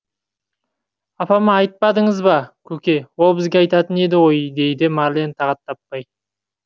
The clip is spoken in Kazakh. апама айтпадыңыз ба көке ол бізге айтатын еді ғой дейді марлен тағат таппай